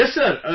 Yes Sir